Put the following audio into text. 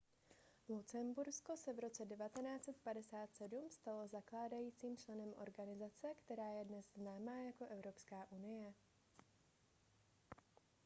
lucembursko se v roce 1957 stalo zakládajícím členem organizace která je dnes známá jako evropská unie